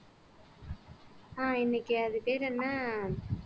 ஆஹ் இன்னைக்கு அது பேர் என்ன